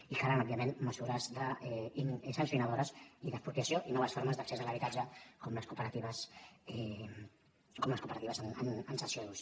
i calen òbvia ment mesures sancionadores i d’expropiació i noves formes d’accés a l’habitatge com les cooperatives en cessió d’ús